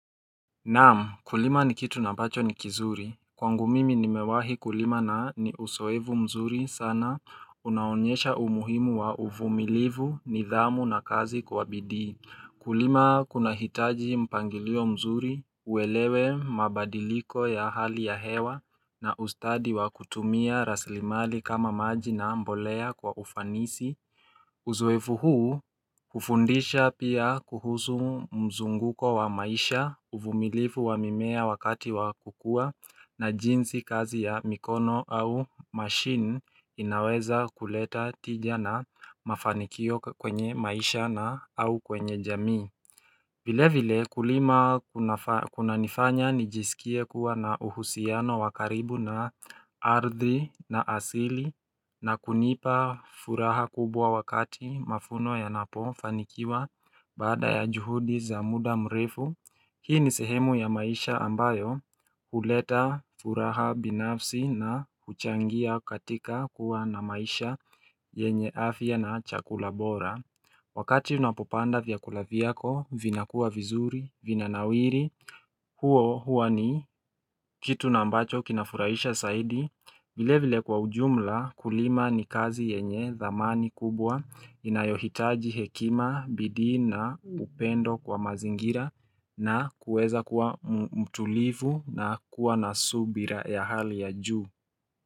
Naam kulima ni kitu na bacho ni kizuri Kwangu mimi nimewahi kulima na ni usoevu mzuri sana Unaonyesha umuhimu wa uvumilivu nidhamu na kazi kuwabidi Kulima kuna hitaji mpangilio mzuri uelewe mabadiliko ya hali ya hewa na ustadi wa kutumia raslimali kama maji na mbolea kwa ufanisi Uzoevu huu hhufundisha pia kuhusu mzunguko wa maisha uvumilifu wa mimea wakati wa kukua na jinsi kazi ya mikono au machine inaweza kuleta tija na mafanikio kwenye maisha na au kwenye jamii vile vile kulima kuna nifanya nijisikie kuwa na uhusiano wakaribu na ardi na asili na kunipa furaha kubwa wakati mavuno ya napo fanikiwa bada ya juhudi za muda mrefu Hii ni sehemu ya maisha ambayo kuleta furaha binafsi na kuchangia katika kuwa na maisha yenye afya na chakula bora Wakati unapopanda vya kulaviyako, vinakua vizuri, vinanawiri, huo5 huani kitu nambacho kinafuraisha saidi, vile vile kwa ujumla kulima ni kazi yenye dhamani kubwa, inayohitaji hekima, bidii na, upendo kwa mazingira na kueza kuwa mtulivu na kuwa na subira ya hali ya juu.